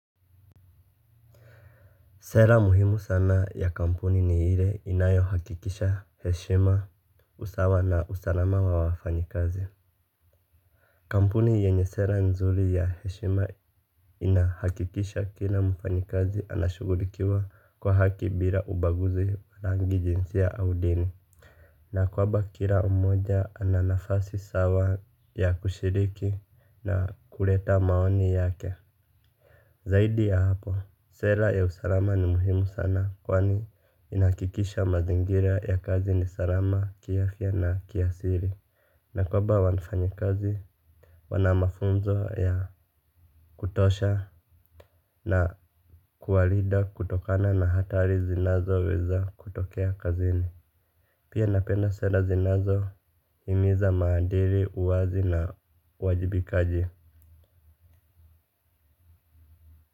Sera muhimu sana ya kampuni ni ile inayo hakikisha heshima, usawa na usalama wa wafanyikazi. Kampuni yenye sera nzuri ya heshima inahakikisha kila mfanyikazi anashugulikiwa kwa haki bila ubaguzi wa rangi, jinsia au dini. Na kwamba kila mmoja ana nafasi sawa ya kushiriki na kuleta maoni yake. Zaidi ya hapo, sera ya usalama ni muhimu sana kwani inakikisha mazingira ya kazi ni salama, kiafya na kiasili na kwamba wanfanyikazi, wana mafunzo ya kutosha. Na kuwalinda kutokana na hatari zinazoweza kutokea kazini. Pia napenda sela zinazohimiza maadili, uwazi na uwajibikaji.